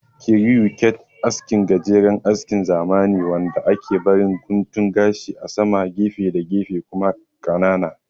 Kiriyu kat aski gajeren askin zamani ne wanda ake barin guntun gashi a sama, gefe da gefe kuma ƙanana